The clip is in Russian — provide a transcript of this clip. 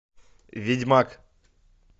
ведьмак